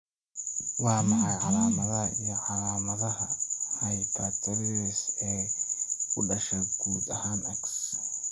Waa maxay calaamadaha iyo calaamadaha Hypertrichosis ee ku dhasha guud ahaan X.